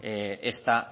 esta